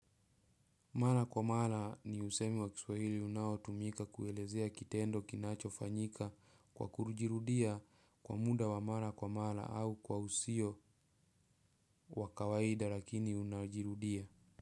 Mara kwa mara ni usemi wa kiswahili unao tumika kuelezea kitendo kinacho fanyika kwa kujirudia kwa muda wa mara kwa mara au kwa usio wakawaida lakini unajirudia.